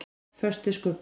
Föst við skuggann.